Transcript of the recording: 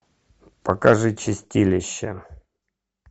покажи чистилище